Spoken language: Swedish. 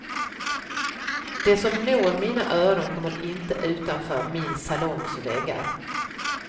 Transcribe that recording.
Det som når mina öron kommer inte utanför min salongs väggar.